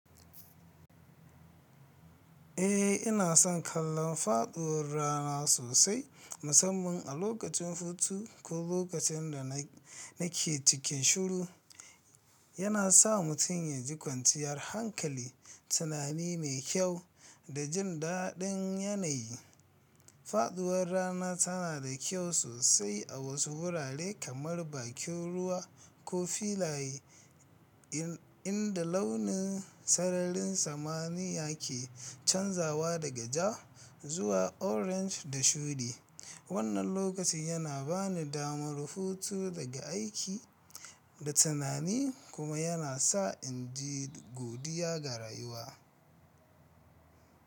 Eh ina son kallon faɗuwar rana sosai musamman a lokacin hutu ko lokacin da na nake cikin shuru. Yana sa mutum yaji kwanciyar hankali, tunani mai kyau da jin daɗin yanayi. Faɗuwar rana tana da kyau sosai a wasu wurare kamar bakin ruwa ko filaye in inda launin sararin samaniya ke canzawa daga ja zuwa orange da shuɗi. Wannan lokaci yana bani damar hutu daga aiki da tunani kuma yana sa inji godiya ga rayuwa.